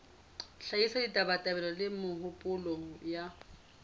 hlahisa ditabatabelo le mehopolo ya